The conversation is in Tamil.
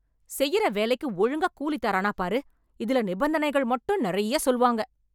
செய்யிற வேலைக்கு ஒழுங்கா கூலி தரானா பாரு, இதுல நிபந்தனைகள் மட்டும் நெறய சொல்வாங்க